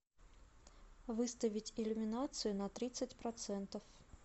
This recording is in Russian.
выставить иллюминацию на тридцать процентов